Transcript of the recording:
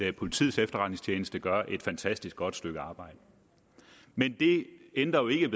at politiets efterretningstjeneste gør et fantastisk godt stykke arbejde men det ændrer jo ikke